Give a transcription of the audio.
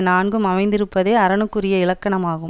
நான்கும் அமைந்திருப்பதே அரணுக்குரிய இலக்கணமாகும்